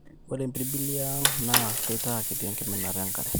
ore impirbili e ang naa keitaa kiti enkiminata enkare